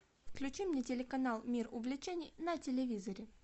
включи мне телеканал мир увлечений на телевизоре